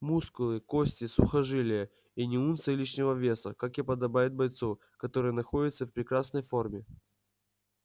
мускулы кости сухожилия и ни унции лишнего веса как и подобает бойцу который находится в прекрасной фррме